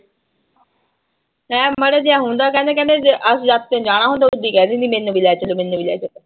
ਐਂ ਮਾੜਾ ਜਿਹਾ ਹੁੰਦਾ ਕਹਿੰਦੇ ਕਹਿੰਦੇ ਜੇ ਅਸੀ ਆਪੇ ਜਾਣਾ ਹੁੰਦਾ ਉਦੋਂ ਹੀ ਕਹਿ ਦਿੰਦੀ ਮੈਨੂੰ ਵੀ ਲੈ ਚੱਲੋ ਮੈਨੂੰ ਵੀ ਲੈ ਚੱਲੋ।